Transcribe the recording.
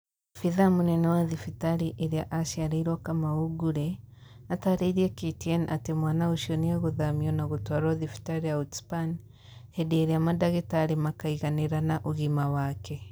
Abithaa mũnene wa thibitarĩ ĩrĩa aciarĩirwo Kamau Ngure, atarĩirie KTN atĩ mwana ũcio nĩegũthamio na gũtwarwo thibitarĩ ya Outspan hĩndĩ ĩrĩa madagitarĩ makaiganĩra na ũgima wake